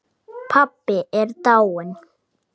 Pabbi er dáinn